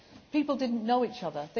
People did not know each other.